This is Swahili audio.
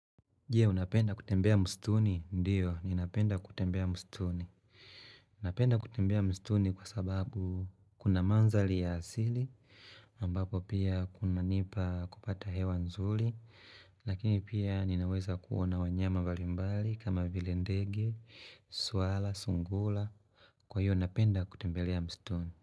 Je, unapenda kutembea msituni? Ndio, ninapenda kutembea msituni. Napenda kutembea msituni kwa sababu kuna mandhari ya asili, ambapo pia kunanipa kupata hewa nzuri, lakini pia ninaweza kuona wanyama mbalimbali kama vile ndege, swara, sungura, kwa hiyo napenda kutembelea msituni.